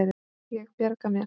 Ég bjarga mér.